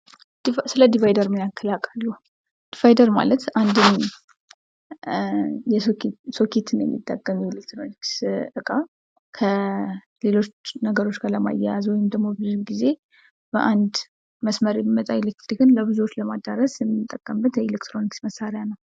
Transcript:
ስለድቫይደር ምን ያክል ያውቃሉ? ድቫይደር ማለት አንድን ሶኬትን የሚጠቀም ኤሌክትሮኒክስ እቃ ከሌሎች ነገሮች ጋር ለማያያዝ ወይም ደግሞ ብዙውን ጊዜ በአንድ መስመር የሚመጣ ኤሌክትሪክን ለብዙዎች ለማዳረስ የምንጠቀምበት የኤሌክትሮኒክስ መሳሪያ ነው።